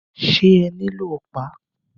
Ṣé ẹ nílò ọ̀pá?